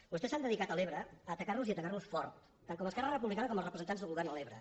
vostès s’han dedicat a l’ebre a atacar nos i atacar nos fort tant esquerra republicana com els representants del govern a l’ebre